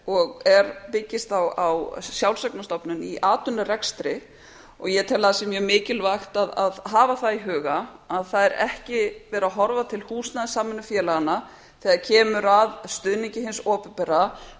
og byggist á sjálfseignarstofnun í atvinnurekstri ég tel mjög mikilvægt að hafa í huga að það er ekki verið að horfa til húsnæðissamvinnufélaganna þegar kemur að stuðningi hins opinbera